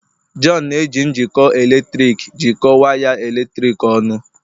John na-eji njikọ eletrik jikọọ waya eletrik ọnụ.